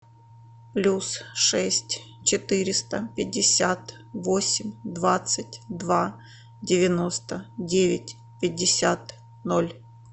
плюс шесть четыреста пятьдесят восемь двадцать два девяносто девять пятьдесят ноль